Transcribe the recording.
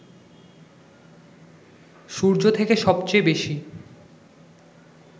সূর্য থেকে সবচেয়ে বেশি